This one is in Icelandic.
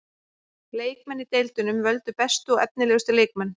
Leikmenn í deildunum völdu bestu og efnilegustu leikmenn.